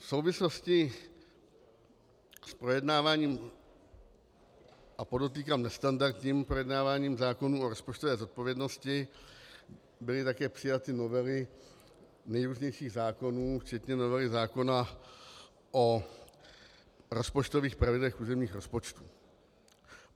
V souvislosti s projednáváním - a podotýkám nestandardním projednáváním - zákonů o rozpočtové zodpovědnosti byly také přijaty novely nejrůznějších zákonů včetně novely zákona o rozpočtových pravidlech územních rozpočtů.